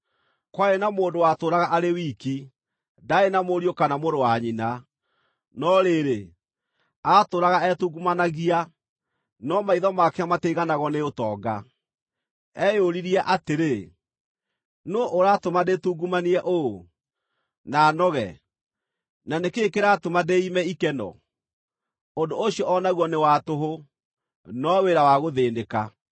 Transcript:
Kwarĩ na mũndũ watũũraga arĩ wiki; ndaarĩ na mũriũ kana mũrũ wa nyina. No rĩrĩ, aatũũraga etungumanagia, no maitho make matiaiganagwo nĩ ũtonga. Eyũririe atĩrĩ, “Nũũ ũratũma ndĩtungumanie ũũ, na noge, na nĩ kĩĩ kĩratũma ndĩiime ikeno?” Ũndũ ũcio o naguo nĩ wa tũhũ, no wĩra wa gũthĩĩnĩka!